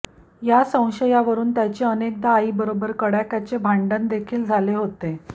या संशयावरुन त्याचे अनेकदा आईबरोबर कडाक्याचे भांडण देखील झाले होते